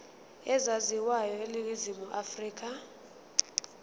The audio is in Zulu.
ezaziwayo eningizimu afrika